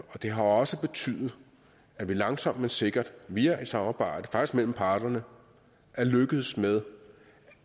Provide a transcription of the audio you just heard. og det har også betydet at vi langsomt men sikkert via et samarbejde mellem parterne er lykkedes med